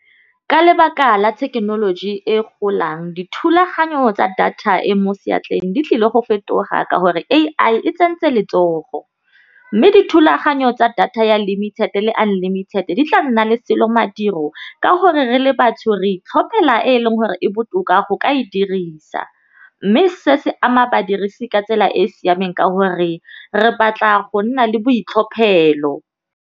Ka lebaka la thekenoloji e golang, dithulaganyo tsa data e mo seatleng di tlile go fetoga ka gore A_I e tsentseng letsogo, mme dithulaganyo tsa data ya limited le unlimited di tla nna le selo madiro ka gore re le batho re itlhophela e e leng gore e botoka go ka e dirisa. Mme se se ama badirisi ka tsela e e siameng ka gore re batla go nna le boitlhophelo.